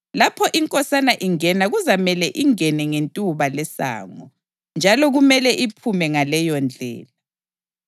Lapho inkosana ingena kuzamele ingene ngentuba lesango, njalo kumele iphume ngaleyondlela.